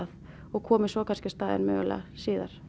og komið svo á staðinn mögulega síðar